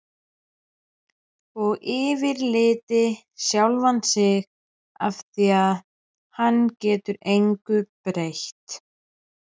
Og fyrirlíti sjálfan sig afþvíað hann getur engu breytt.